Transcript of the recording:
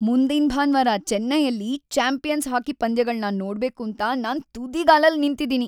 ಮುಂದಿನ್ ಭಾನ್ವಾರ ಚೆನ್ನೈಯಲ್ಲಿ ಚಾಂಪಿಯನ್ಸ್ ಹಾಕಿ ಪಂದ್ಯಗಳ್ನ ನೋಡ್ಬೇಕೂಂತ ನಾನ್ ತುದಿಗಾಲಲ್ಲ್‌ ನಿಂತಿದೀನಿ.